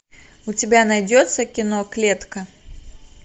у тебя найдется кино клетка